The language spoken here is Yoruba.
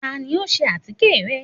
Tani o sè atike rẹ?